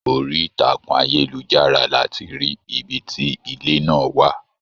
Orí ìtàkùn ayelujara láti rí ibì ti ilé náà wà.